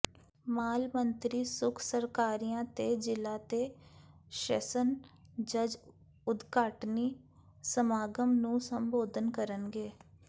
ਮਾਲ ਮੰਤਰੀ ਸੁਖ ਸਰਕਾਰੀਆ ਤੇ ਜਿਲਾ ਤੇ ਸ਼ੈਸਨ ਜੱਜ ਉਦਘਾਟਨੀ ਸਮਾਗਮ ਨੂੰ ਸੰਬੋਧਨ ਕਰਨਗੇ